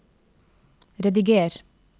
rediger